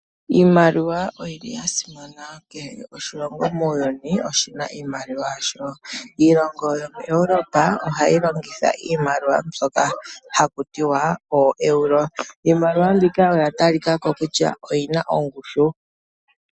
Iimaliwa oyili ya simana. Kehe oshilongo muuyuni oshina iimaliwa yasho. Iilongo yomuEuropa ohayi longitha iimaliwa mbyoka haku tiwa ooEuro. Iimaliwa mbika oya talika ko kutya oyina ongushu.